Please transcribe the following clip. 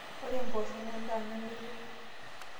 Ore mboosho naa endaa namelok.